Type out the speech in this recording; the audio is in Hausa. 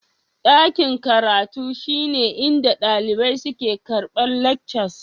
Daƙin karatun shine inɗa daliɓai suke karɓar leckcas.